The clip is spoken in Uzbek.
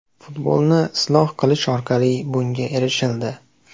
Futbolni isloh qilish orqali bunga erishildi.